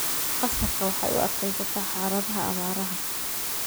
Qasabka waxay u adkaysataa xaaladaha abaaraha.